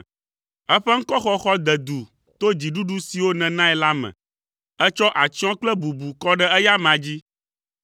Eƒe ŋkɔxɔxɔ de du to dziɖuɖu siwo nènae la me. Ètsɔ atsyɔ̃ kple bubu kɔ ɖe eya amea dzi.